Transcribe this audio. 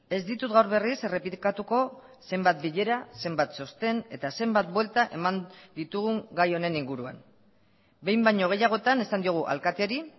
ez ditut gaur berriz errepikatuko zenbat bilera zenbat txosten eta zenbat buelta eman ditugun gai honen inguruan behin baino gehiagotan esan diogu alkateari